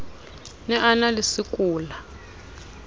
ne a na le sekola